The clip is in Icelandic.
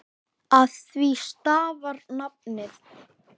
Af því stafar nafnið.